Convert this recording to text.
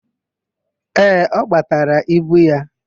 Ee, ọ gbataala ibu ya.